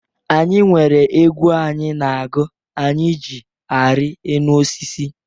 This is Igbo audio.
Anyị nwere egwu anyị na-agụ anyị jị arị enu osisi.